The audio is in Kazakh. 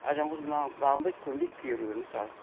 ал жалғыз маған бағынбайт көнбейт кейбіреулер мысалы